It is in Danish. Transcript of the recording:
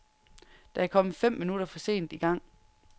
Det er kommet fem minutter for sent i gang.